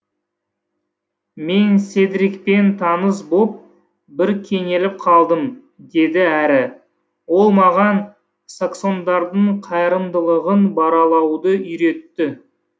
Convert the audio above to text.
мен седрикпен таныс боп бір кенеліп қалдым деді әрі ол маған саксондардың қайрымдылығын баралауды үйретті